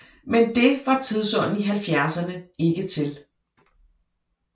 Men det var tidsånden i halvfjerdserne ikke til